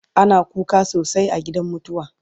ana kuka sosai a gidan mutuwa